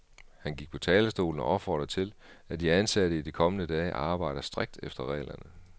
Han gik på talerstolen og opfordrede til, at de ansatte i de kommende dage arbejder strikt efter reglerne.